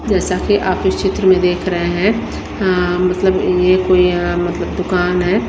जैसा की आप इस चित्र में देख रहे हैं अं मतलब ये कोई अं मतलब दुकान है।